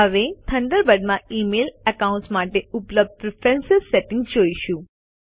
હવે થન્ડરબર્ડ માં email accounts માટે ઉપલબ્ધ પ્રેફરન્સ સેટિંગ્સ જોઈશું